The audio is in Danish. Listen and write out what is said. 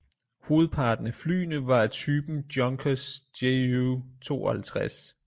Hovedparten af flyene var af typen junkers ju 52